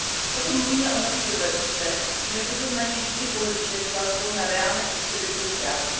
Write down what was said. Pokud mluvíme o nových dovednostech, měli bychom na ně vždy pohlížet s vazbou na reálné potřeby trhu práce.